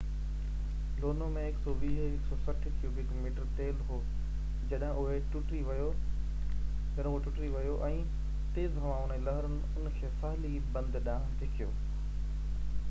لونو ۾ 120–160 cubic metre تيل هو جڏهن اهو ٽٽي ويو ۽ تيز هوائن ۽ لهرن ان کي ساحلي بند ڏانهن ڌڪيو